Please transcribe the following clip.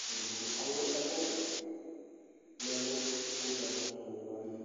kʋ ɛdigbo alʋ ɛkʋ nɛlʋ kʋ ugbatatsɔ ni dʋ ayili